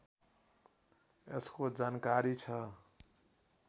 यसको जानकारी छ